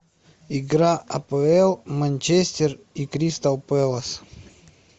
игра апл манчестер и кристал пэлас